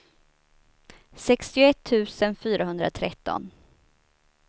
sextioett tusen fyrahundratretton